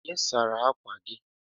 Onye sara akwa gị?